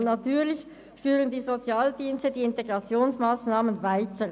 Und natürlich führen die Sozialdienste die Integrationsmassnahmen weiter.